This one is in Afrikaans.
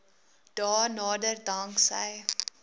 dae nader danksy